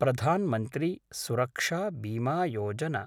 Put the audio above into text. प्रधान् मन्त्री सुरक्षा बीमा योजना